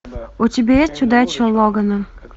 у тебя есть удача логана